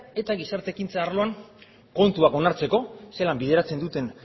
eta gizarte ekintza arloan kontuak onartzeko zelan bideratzen duten